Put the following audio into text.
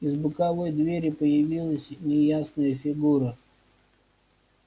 из боковой двери появилась неясная фигура